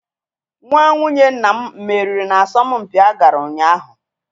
Nwa nwunye nna m meriri n'asọmpi a gara ụnyaahụ.